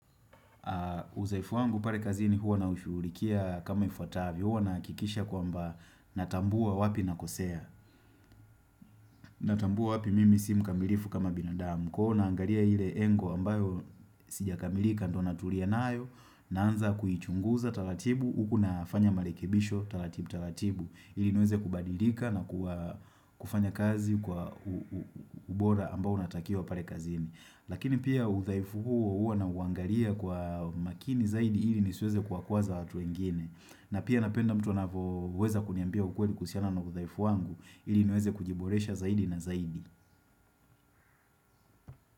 Uzoefu wangu pale kazini huwa naushughulikia kama ifuatavyo Huwa nahakikisha kwamba natambua wapi nakosea Natambua wapi mimi simkamilifu kama binadamu Kwa hivi naangalia ile engo ambayo sijakamilika ndo natulia nayo Naanza kuichunguza taratibu Huku nafanya marekebisho taratibu taratibu ili niweze kubadilika na kufanya kazi kwa ubora ambao unatakiwa pale kazini Lakini pia udhaifu huo huo nauangalia kwa makini zaidi ili nisiweze kuwakwaza watu wengine. Na pia napenda mtu anapoweza kuniambia ukweli kuhusiana na udhaifu wangu ili niweze kujiboresha zaidi na zaidi.